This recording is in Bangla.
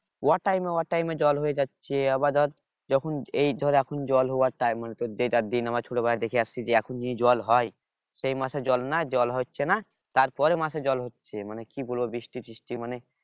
অ time এ অ time এ জল হয়ে যাচ্ছে আবার ধর যখন এই ধর এখন জল হওয়ার time মানে আমরা ছোট বেলায় দেখে আসছি যে এখন যে জল হয় সেই মাসে জল না জল হচ্ছে না তার পরের মাসে জল হচ্ছে মানে কি বলবো বৃষ্টি টিষ্টি মানে